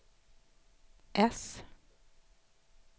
äss